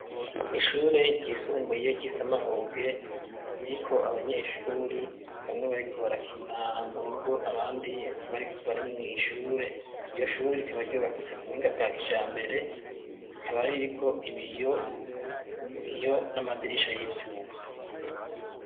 Ishure ryisumbuye ry'isamahoge ririko abanyeshure bamwe bariko barakina mu rugo abandi bari mw'ishure, iryo shure rikaba ryubakitse kubuhinga bwa kijambere, rikaba ririko ibiyo n'amadirisha y'ivyuma.